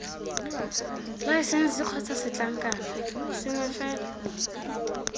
laesense kgotsa setlankna sengwe fela